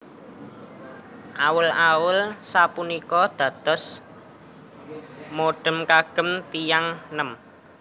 Awul awul sapunika dados modhe kagem tiyang nem